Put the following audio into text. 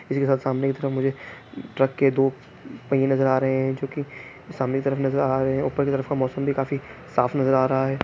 किसी के सामने की तरफ मुझे ट्रक के पहीए नजर आ रहे हैं जो कि सामने तरफ नजर आ रहे हैं ऊपर की तरफ का मौसम भी काफी साफ नजर आ रहा है।